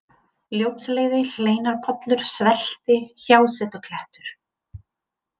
Ljótsleiði, Hleinarpollur, Svelti, Hjásetuklettur